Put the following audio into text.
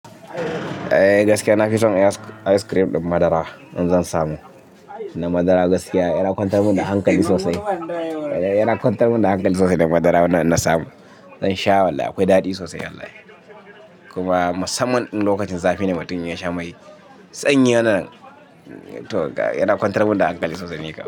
Eh gaskiya na fi son ice cream ɗin madara in zan samu. Na madara gaskiya yana kwantar mun da hankali sosai. Yana kwantar mun da hankali sosai na madara in na samu. Zan sha wallahi akwai daɗi sosai wallahi. Kuma musamman lokacin zafi ne mutum ya sha mai sanyi yana, yana kwantar mun da hankali sosai ni kam.